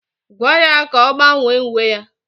Gwaa ya ka ọ gbanwee uwe ya!